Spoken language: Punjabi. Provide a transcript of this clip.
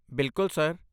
ਬਿਲਕੁਲ, ਸਰ।